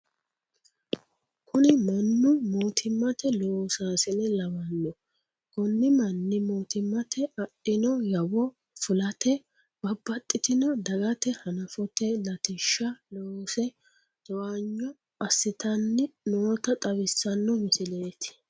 Kuni mannu mootimmate loosaasine lawanno. Koni manni mootimmatenni adhino yawo fulate babbaxitino dagate hanafote latishsha loosse towaanyo assitanni noota xawissano misileeti.